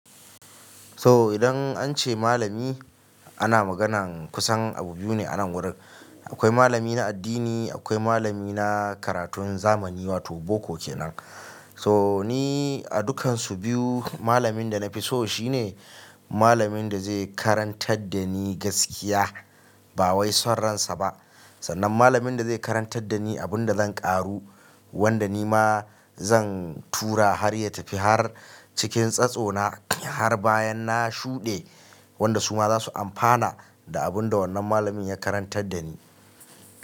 So idan an ce malami ana maganan kusan abu biyu ne a nan wurin. Akwai malami na addini, akwai malami na karatun zamani wato boko kenan. So ni a dukansu biyu malamin da na fi so shine. Malamin da zai karantar da ni gaskiya ba wai son ransa ba. Sannan malamin da zai karantar da ni abin da zan ƙaru wanda ni ma zan tura har ya tafi har cikin tsatsona har bayan na shuɗe. Wanda su ma za su amfana da abin da wannan malamin ya karantar da ni.